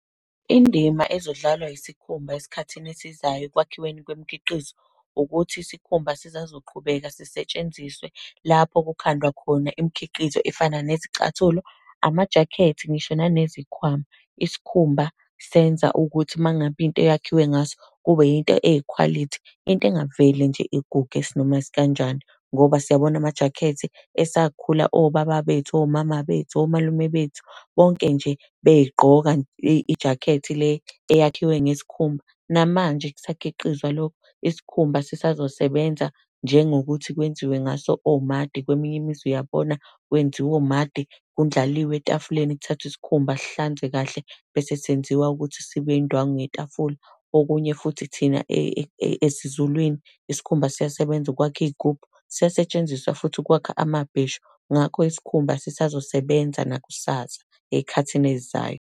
Indima ezodlalwa isikhumba esikhathini esizayo ekwakhiweni kwemikhiqizo, ukuthi isikhumba sisazoqhubeka zisetshenziswe lapho kukhandwa khona imikhiqizo efana nezicathulo, amajakhethi, ngisho nanezikhwama. Isikhumba senza ukuthi uma ngabe into yakhiwe ngaso, kube yinto eyikhwalithi, into engavele nje iguge isinoma isikanjani. Ngoba siyabona amajakhethi esakhula obaba bethu, omama bethu, omalume bethu, bonke nje bey'gqoka ijakhethi le, eyakhiwe ngesikhumba, namanje kusakhiqizwa lokho. Isikhumba sisazosebenza njengokuthi kwenziwe ngaso omadi, kweminye imizi uyabona kwenziwa omadi, kundlaliwe etafuleni, kuthathwe isikhumba sihlanzwe kahle, bese senziwa ukuthi sibe indwangu yetafula. Okunye futhi thina esiZulwini, isikhumba siyasebenza ukwakha iy'gubhu. Siyasetshenziswa futhi ukwakha amabheshu. Ngakho isikhumba sisazosebenza nakusasa, ey'khathini ey'zayo.